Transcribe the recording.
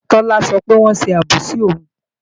Tọ́lá sọ pé wọ́n ṣe àbòsí òun